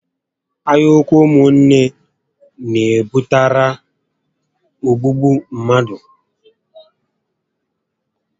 Anya úkwú ụmụ nné n'ebutekarị ogbúgbú mmadụ